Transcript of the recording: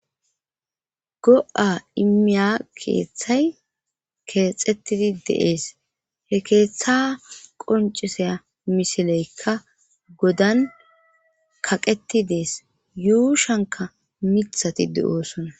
Go'a imiya keeththay keexettidi deees he keeththa qonciseya misileykka godan kaqeti dees yuushanka mithati de'oosonna.